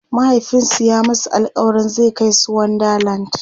mahaifinsu ya masu alkawalin zai Kai su wonder land